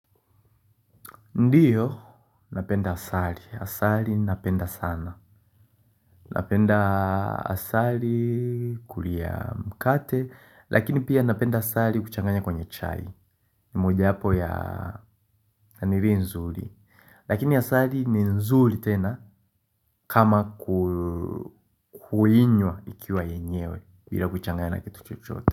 Ndiyo, napenda asali. Asari napenda sana. Napenda asali kulia mkate, lakini pia napenda asali kuchanganya kwenye chai. Moja wapo ya nanilinzuli. Lakini asali ni nzuli tena kama kuinywa ikiwa yenyewe bila kuchanganya na kitu chochote.